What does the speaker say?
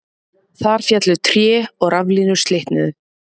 Þar féllu tré og raflínur slitnuðu